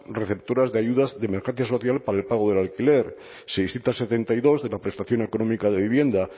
receptoras de ayudas de emergencia social para el pago del alquiler seiscientos setenta y dos de la prestación económica de vivienda